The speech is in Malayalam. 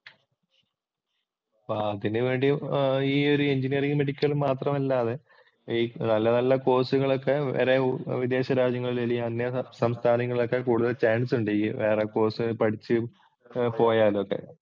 ഭാഗ്യത്തിന് വേണ്ടി ഈ ഒരു എഞ്ചിനിയറിംഗ് അല്ലാതെ ഈ നല്ല നല്ല കോഴ്സുകള്‍ ഒക്കെ വേറെ വിദേശ രാജ്യങ്ങളില്‍ അന്യസംസ്ഥാനങ്ങളില്‍ ഒക്കെ കൂടുതല്‍ചാന്‍സ് ഉണ്ട് വേറെ കോഴ്സ് ഒക്കെ പഠിച്ചു പോയാലൊക്കെ.